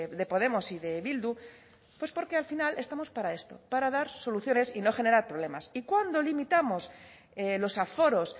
de podemos y de bildu pues porque al final estamos para esto para dar soluciones y no generar problemas y cuando limitamos los aforos